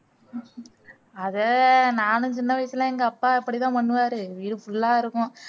அதை நானும் சின்ன வயசுல எங்க அப்பா இப்படிதான் பண்ணுவாரு வீடு full ஆ இருக்கும்